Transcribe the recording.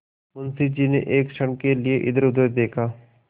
मुंशी जी ने एक क्षण के लिए इधरउधर देखा